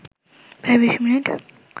প্রায় ২০ মিনিট